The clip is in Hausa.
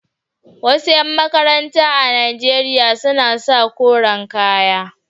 Wasu ƴan makaranta a Najeriya suna sa koren kaya.